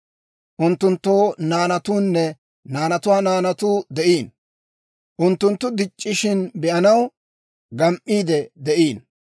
Unttunttoo naanatuunne naanatuwaa naanatuu de'iino; unttunttu dic'c'ishina be'anaw, gam"iide de'iino.